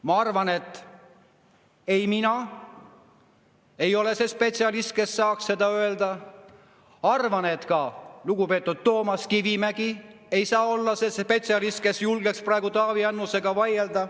Ma arvan, et ei mina ei ole see spetsialist, kes saaks seda öelda, ja arvan, et ka lugupeetud Toomas Kivimägi ei saa olla see spetsialist, kes julgeks praegu Taavi Annusega vaielda.